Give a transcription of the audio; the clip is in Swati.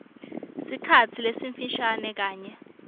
sikhatsi lesifishane kanye